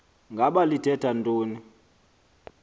ngaba lithetha ntoni